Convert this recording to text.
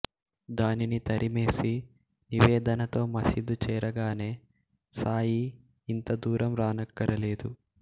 దానిని తరిమేసి నివేదనతో మశీదు చేరగానే సాయి ఇంతదూరం రానక్కరలేదు